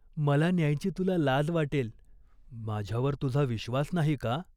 मला न्यायची तुला लाज वाटेल." "माझ्यावर तुझा विश्वास नाही का ?